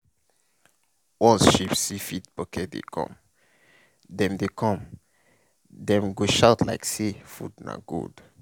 once sheep see feed bucket dey come dem dey come dem go shout like say food na gold.